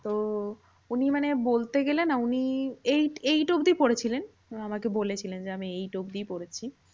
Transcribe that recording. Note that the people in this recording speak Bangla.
তো উনি মানে বলতে গেলে না উনি eight eight অব্ধি পড়েছিলেন। আমাকে বলেছিলেন যে, আমি eight অব্ধি পড়েছি।